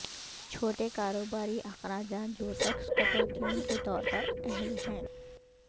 چھوٹے کاروباری اخراجات جو ٹیکس کٹوتیوں کے طور پر اہل ہیں